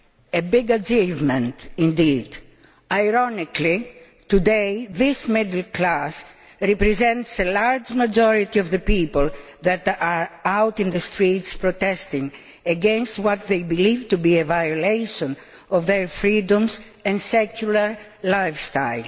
A big achievement indeed. Ironically, today this middle class represents a large majority of the people that are out in the streets protesting against what they believe to be a violation of their freedoms and secular lifestyle.